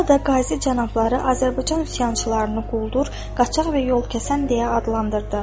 Burada Qazi cənabları Azərbaycan üsyançılarını quldur, qaçaq və yol kəsən deyə adlandırdı.